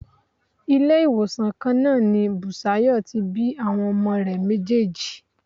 Ilé-ìwòsàn kan náà ni Bùsáyọ̀ tí bí àwọn ọmọ rẹ̀ méjèèjì.